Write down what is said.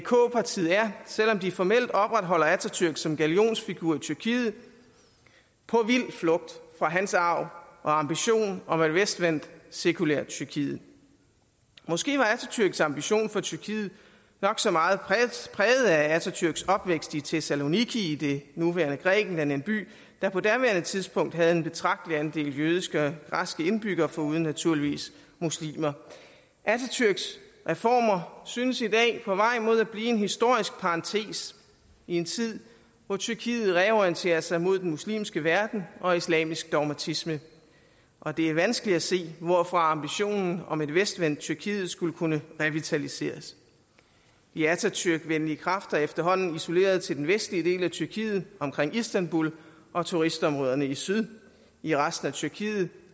partiet er selv om de formelt opretholder atatürk som gallionsfigur i tyrkiet på vild flugt fra hans arv og ambition om et vestvendt sekulært tyrkiet måske var atatürks ambition for tyrkiet nok så meget præget af atatürks opvækst i thessaloniki i det nuværende grækenland en by der på daværende tidspunkt havde en betragtelig andel jødiske og græske indbyggere foruden naturligvis muslimer atatürks reformer synes i dag på vej mod at blive en historisk parentes i en tid hvor tyrkiet reorienterer sig mod den muslimske verden og islamisk dogmatisme og det er vanskeligt at se hvorfra ambitionen om et vestvendt tyrkiet skulle kunne revitaliseres de atatürkvenlige kræfter er efterhånden isoleret til den vestlige del af tyrkiet omkring istanbul og turistområderne i syd i resten af tyrkiet